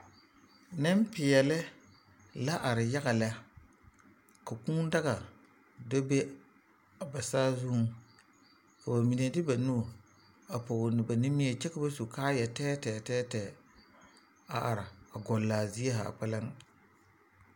Nempeɛle la are yaga lɛ ka Kūū daga bebe a ba saazuŋ ka ba mine de ba nu a pɔge ba nimie kyɛ ka ba su kaayɛ tɛɛtɛɛ tɛɛtɛɛ a are gɔle a zie zaa kpɛlɛŋ.